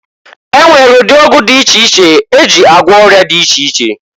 E nwere ụdị ọgwụ dị iche iche e ji agwọ ọya dị iche iche.